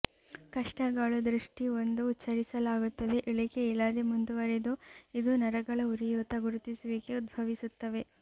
ಕಷ್ಟಗಳು ದೃಷ್ಟಿ ಒಂದು ಉಚ್ಚರಿಸಲಾಗುತ್ತದೆ ಇಳಿಕೆ ಇಲ್ಲದೆ ಮುಂದುವರೆದು ಇದು ನರಗಳ ಉರಿಯೂತ ಗುರುತಿಸುವಿಕೆ ಉದ್ಭವಿಸುತ್ತವೆ